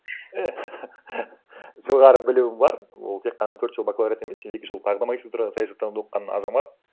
э жоғары білімі бар ол тек қана төрт жыл бакалавриат емес екі жыл тағы да магистратурада саясаттануда оқыған азамат